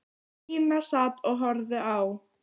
Stína sat og horfði á.